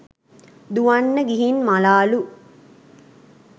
දුවන්න ගිහින් මළාලු.